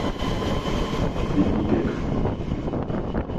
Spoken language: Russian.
виннипег